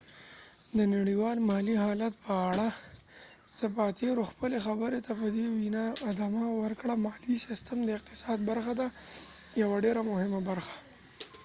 د نړیوال مالی حالت په اړه زپاتیرو خپلی خبری ته په دي وينا ادامه ورکړه : مالی سیستم د اقتصاد برخه ده ، یوه ډیره مهمه برخه